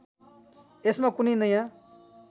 यसमा कुनै नयाँ